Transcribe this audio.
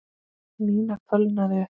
Nína fölnaði upp.